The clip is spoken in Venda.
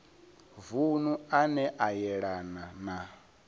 vunu ane a yelana na